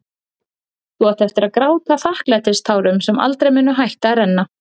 Þú átt eftir að gráta þakklætistárum sem aldrei munu hætta að renna.